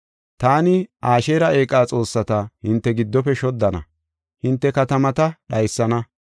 Taani Asheera eeqa xoossata hinte giddofe shoddana; hinte katamata dhaysana.